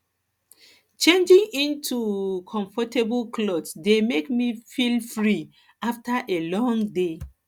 changing into um comfortable clothes dey make me feel free um after a long day